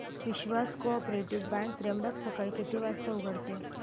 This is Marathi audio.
विश्वास कोऑपरेटीव बँक त्र्यंबक सकाळी किती वाजता उघडते